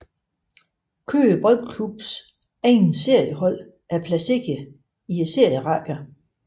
Køge Boldklubs egne seniorhold er placeret i serierækkerne